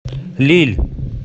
лилль